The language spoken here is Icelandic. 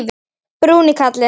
Bruni karla.